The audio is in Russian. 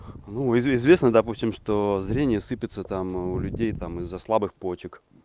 ну известно допустим что зрение сыпется там у людей там из-за слабых почек